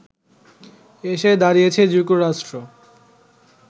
এসে দাঁড়িয়েছে যুক্তরাষ্ট্র